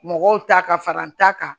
Mɔgɔw ta ka fara n ta kan